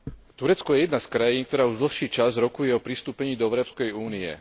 Turecko je jedna z krajín, ktorá už dlhší čas rokuje o pristúpení do Európskej únie.